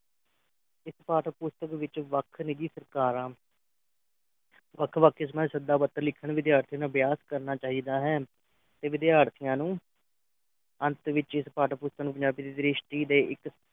ਇਸ ਪਾਠ-ਪੁਸਤਕ ਵਿਚ ਵੱਖ ਰਗਈ ਸਰਕਾਰਾਂ ਵੱਖ ਵੱਖ ਕਿਸਮਾਂ ਦੀ ਸ਼ਬਦਾ ਪੱਤਰ ਲਿਖਣ ਦੀ ਵਿਦਿਆਰਥੀਆਂ ਨੂੰ ਅਭਿਆਸ ਕਰਨਾ ਚਾਹੀਦਾ ਹੈ ਤੇ ਵਿਦਿਆਰਥੀਆਂ ਨੂੰ ਅੰਤ ਵਿਚ ਪਾਠਪੁਸਤਕ ਨੂੰ ਪੰਜਾਬੀ ਦੇ ਇਕ ਦ੍ਰਿਸ਼ਟੀ ਦੇ ਇੱਕ